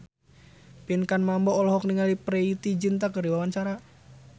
Pinkan Mambo olohok ningali Preity Zinta keur diwawancara